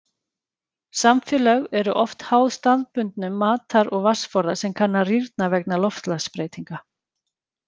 Samfélög eru oft háð staðbundum matar- og vatnsforða sem kann að rýrna vegna loftslagsbreytinga.